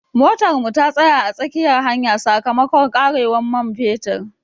Motar mu ta tsaya a tsakiyar hanya sakamakon karewar man fetur.